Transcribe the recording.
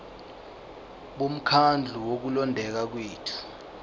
bomkhandlu wokulondeka kwethu